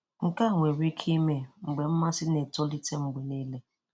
Nke a nwere ike ime mgbe mmasị na-etolite mgbe niile.